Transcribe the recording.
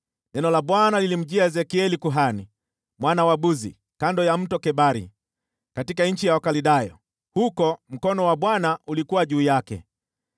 neno la Bwana lilimjia Ezekieli kuhani, mwana wa Buzi, kando ya Mto Kebari, katika nchi ya Wakaldayo. Huko mkono wa Bwana ulikuwa juu yake.